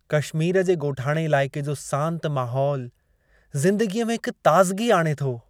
कशमीर जे ॻोठाणे इलाइक़े जो सांति माहोलु, ज़िंदगीअ में हिक ताज़िगी आणे थो।